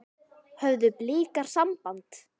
Höfðu Blikar samband?